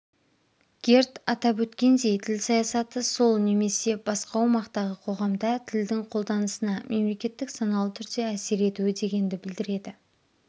герд атап өткендей тіл саясаты сол немесе басқа аумақтағы қоғамда тілдің қолданысына мемлекеттің саналы түрде әсер етуі дегенді білдіреді